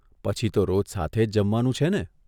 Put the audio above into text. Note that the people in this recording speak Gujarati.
પછી તો રોજ સાથે જ જમવાનું છે ને !